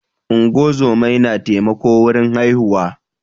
ungozomai na taimako wurin haihuwa